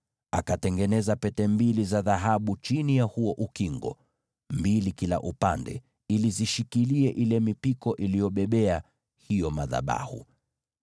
Akatengeneza pete mbili za dhahabu kwa ajili ya madhabahu chini ya huo ukingo, zikiwa mbili kila upande, za kushikilia hiyo mipiko iliyotumika kuyabebea madhabahu.